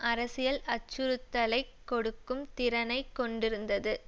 அரசியல் அச்சுறுத்தலை கொடுக்கும் திறனை கொண்டிருந்தது